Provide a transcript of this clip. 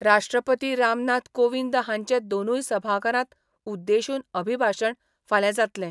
राष्ट्रपती रामनाथ कोविंद हांचे दोनूय सभाघरांक उद्देशून अभिभाशण फाल्यां जातलें.